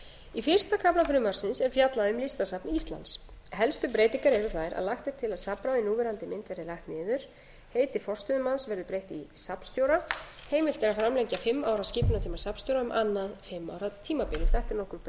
í fyrsta kafla frumvarpsins er fjallað um listasafn íslands helstu breytingar eru þær að lagt er til að safnráð í núverandi mynd verði lagt niður heiti forstöðumanns verði breytt í safnstjóra heimilt er að framlengja fimm ára skipunartíma safnstjóra um annað fimm ára tímabil þetta er nokkur breyting því